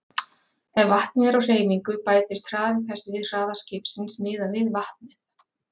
Ef vatnið er á hreyfingu bætist hraði þess við hraða skipsins miðað við vatnið.